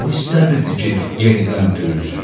O istəmirdi ki, yenidən döyülsün.